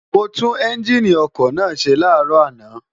mo tú́n ẹ́ńgíìnì ọkọ̀ náà ṣe láàárọ̀ àná